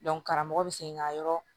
karamɔgɔ bɛ segin ka yɔrɔ